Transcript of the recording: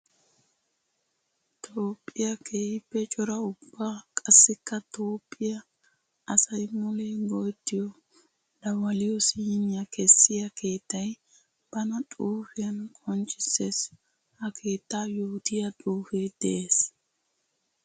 Toophiya keehippe cora ubba qassikka toophiya asay mule go'ettiyo dawaliyo simiya kessiya keettay bana xuufiyan qonccisees. Ha keetta yoottiya xuufe de'ees.